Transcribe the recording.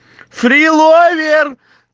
фриловер